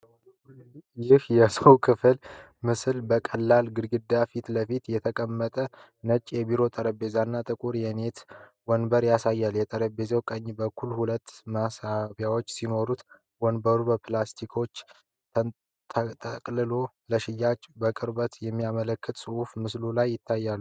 ይህ የውስጥ ክፍል ምስል ከቀላል ግድግዳ ፊት ለፊት የተቀመጠ ነጭ የቢሮ ጠረጴዛ እና ጥቁር የኔት ወንበር ያሳያል። የጠረጴዛው ቀኝ በኩል ሁለት መሳቢያዎች ሲኖሩት፣ ወንበሩ በፕላስቲክ ተጠቅልሎ ለሽያጭ መቅረቡን የሚያመለክቱ ጽሑፎች በምስሉ ላይ ይታያሉ።